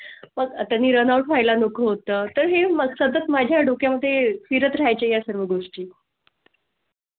आता run out व्हाय ला नको होतं तर हें मग सतत माझ्या डोक्या मध्ये फिरत राहाय चे या सर्व गोष्टी.